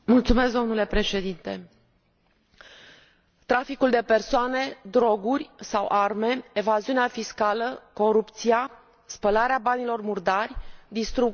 Traficul de persoane, droguri sau arme, evaziunea fiscală, corupția, spălarea banilor murdari distrug oameni, comunități și orice regulă.